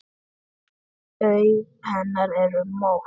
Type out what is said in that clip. Augu hennar eru mött.